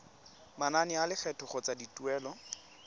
manane a lekgetho kgotsa dituelo